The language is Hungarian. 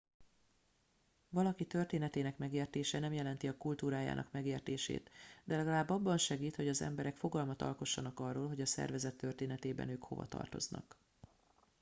valaki történetének megértése nem jelenti a kultúrájának megértését de legalább abban segít hogy az emberek fogalmat alkossanak arról hogy a szervezet történetében ők hova tartoznak